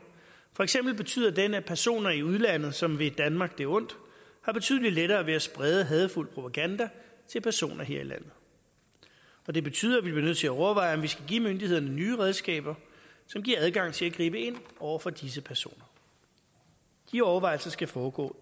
for eksempel betyder den at personer i udlandet som vil danmark det ondt har betydelig lettere ved at sprede hadefuld propaganda til personer her i landet og det betyder at vi bliver nødt til at overveje om vi skal give myndighederne nye redskaber som giver adgang til at gribe ind over for disse personer de overvejelser skal foregå